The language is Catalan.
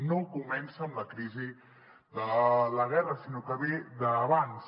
no comença amb la crisi de la guerra sinó que ve d’abans